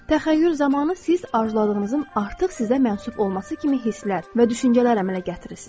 Təxəyyül zamanı siz arzuladığınızın artıq sizə məxsus olması kimi hisslər və düşüncələr əmələ gətirirsiniz.